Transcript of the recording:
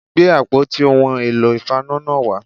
Gbé àpótí ohun èlò ìfaná náà wá